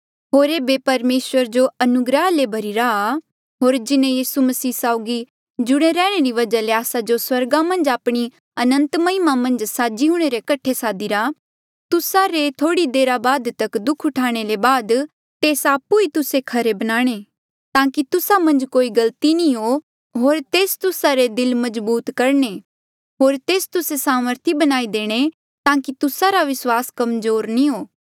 होर ऐबे परमेसर जो अनुग्रहा ले भरिरा आ होर जिन्हें यीसू मसीह साउगी जुड़े रैहणे री वजहा ले आस्सा जो स्वर्गा मन्झ आपणी अनंत महिमा मन्झ साझी हूंणे रे कठे सादीरा तुस्सा रे थोह्ड़ी देरा तक दुःख उठाणे ले बाद तेस आपु ई तुस्से खरे बनाणे ताकि तुस्सा मन्झ कोई गलती नी हो होर तेस तुस्सा रे दिल मजबूत करणे होर तेस तुस्से सामर्थी बणाई देणे ताकि तुस्सा रा विस्वास कमजोर नी हो